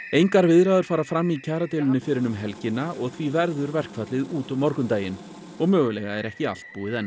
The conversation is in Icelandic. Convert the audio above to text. engar viðræður fara fram í kjaradeilunni fyrr en um helgina og því verður verkfallið út morgundaginn og mögulega er ekki allt búið enn